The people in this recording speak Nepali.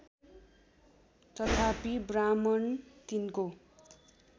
तथापि ब्राह्मण तिनको